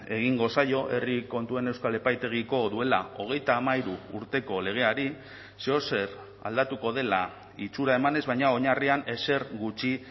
egingo zaio herri kontuen euskal epaitegiko duela hogeita hamairu urteko legeari zeozer aldatuko dela itxura emanez baina oinarrian ezer gutxi